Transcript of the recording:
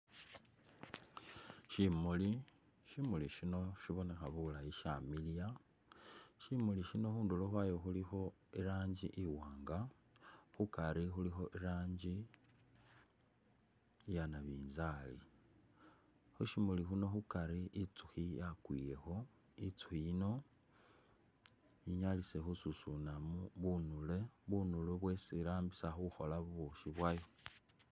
Syimuli, Syimuli syino syibonekha bulayi syamiliya. Syimuli syino khundulo khwayo khulikho i'rangi iwaanga, khukari khulikho i'rangi iya nabinzaali. Khu syimuli syino khukari itsukhi yakwilekho, itsukhi yino ili khesusunamu bunule, bunulu bwesi irambisa khukhola bubukhi bwayo.